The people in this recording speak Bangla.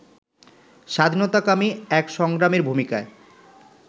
স্বাধীনতাকামী এক সংগ্রামীর ভূমিকায়